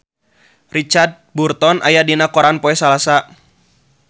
Richard Burton aya dina koran poe Salasa